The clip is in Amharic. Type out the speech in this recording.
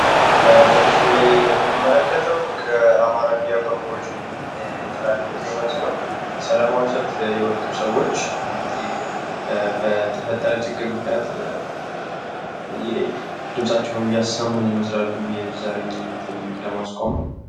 በምስሉ ላይ የምንመለከተው በአማራ ሚድያ ኮርፖሬሽን የተላለፈ ዜና ሲሆን ሰላማዊ ሰልፍ የወጡ ሰዎች እንግዲህ በተፈጠረ ችግር ምክንያት ድምፃቸውን እያሰሙ ይመስላሉ ዘረኝነትን ለማስቆም።